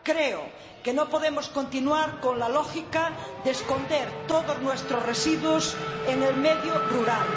Creo que no podemos continuar con la lógica de esconder todos nuestros residuos en el medio rural.